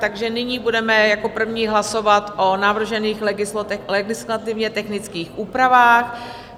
Takže nyní budeme jako první hlasovat o navržených legislativně technických úpravách.